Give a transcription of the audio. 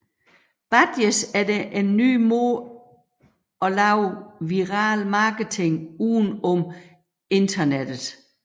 Badges er en nye måde at lave viral marketing uden om internettet